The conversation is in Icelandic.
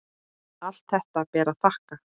Allt þetta ber að þakka.